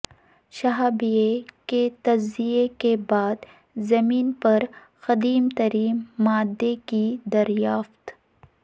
شہابیے کے تجزیے کے بعد زمین پر قدیم ترین مادے کی دریافت